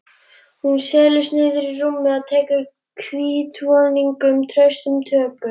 Hún seilist niður í rúmið og tekur hvítvoðunginn traustum tökum.